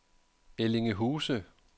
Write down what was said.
Ellinge Huse